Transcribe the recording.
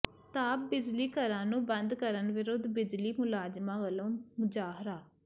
ਤਾਪ ਬਿਜਲੀ ਘਰਾਂ ਨੂੰ ਬੰਦ ਕਰਨ ਵਿਰੁੱਧ ਬਿਜਲੀ ਮੁਲਾਜ਼ਮਾਂ ਵਲੋਂ ਮੁਜ਼ਾਹਰਾ